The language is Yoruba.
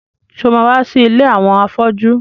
Ṣé o ma wá sí ilé àwọn afọ́jú?